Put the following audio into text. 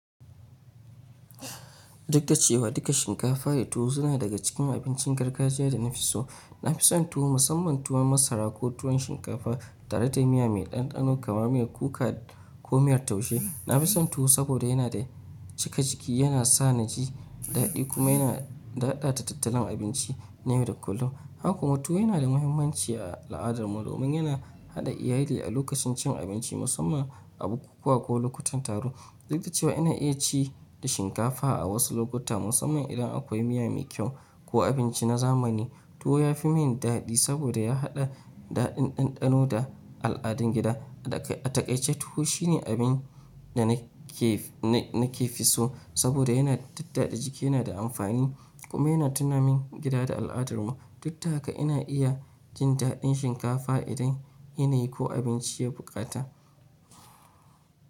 Duk da cewa duka shinkafa da tuwo suna daga cikin abincin gargajiya da na fi so, na fi son tuwo musamman tuwon masara ko tuwon shinkafa tare da miya mai ɗanɗano kamar miyar kuka ko miyar taushe. Na fi son tuwo saboda yana da cika ciki, yana sa na ji daɗi kuma yana daɗa ta tattalin abinci na yau da kullum. Haka kuma tuwo yana da muhimmanci a al'adarmu domin yana haɗa iyali a lokacin cin abinci musamman a bukukuwa ko lokutan taro. Duk da cewa ina iya ci da shinkafa a wasu lokuta musamman idan akwai miya mai kyau ko abinci na zamani, tuwo ya fi min daɗi saboda ya haɗa daɗin ɗanɗano da al'adun gida. A takaice tuwo shine abin da na ke fi so saboda yana tattada jiki, yana da amfani kuma yana tunamin gida da al'adarmu. Duk taka ina iya jin daɗin shinkafa idan yinayi ko abinci ya bukata.